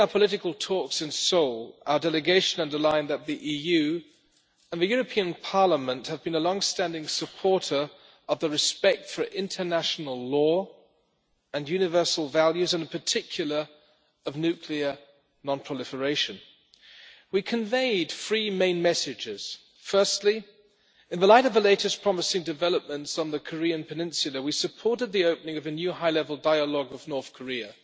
During our political talks in Seoul, our delegation underlined that the EU and the European Parliament have been long-standing supporters of respect for international law, universal values and, in particular, of nuclear non-proliferation. We conveyed three main messages. Firstly, in the light of the latest promising developments on the Korean Peninsula, we supported the opening of a new high level dialogue with North Korea.